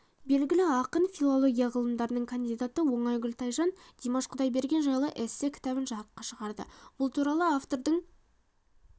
белгілі ақын филология ғылымдарының кандидаты оңайгүл тайжан димаш құдайберген жайлы эссе-кітабын жарыққа шығарды бұл туралы автордың